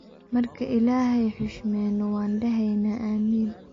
Marka illahey hushmeyno waa dhaxeyna ameen.